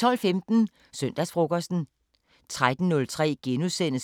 12:15: Søndagsfrokosten 13:03: